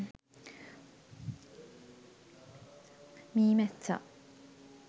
meemessa